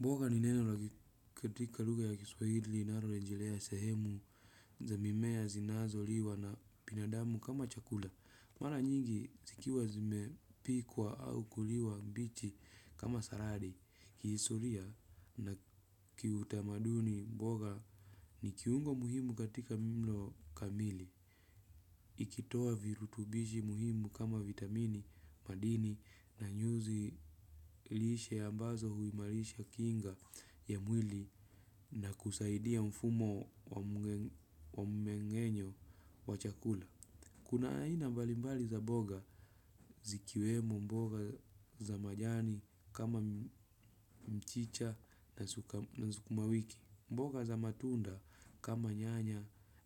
Mboga ni neno katika lugha ya kiswahili linalo rejelea sehemu za mimea zinazo liwa na binadamu kama chakula. Mara nyingi zikiwa zimepikwa au kuliwa mbichi kama saladi. Kihistoria na kitamaduni mboga ni kiungo muhimu katika mlo kamili. Ikitoa virutubishi muhimu kama vitamini, madini na nyuzi lishe ambazo huimarisha kinga ya mwili na kusaidia mfumo wa mmengenyo wa chakula. Kuna aina mbalimbali za boga zikiwemo mboga za majani kama mchicha na sukuma wiki. Mboga za matunda kama nyanya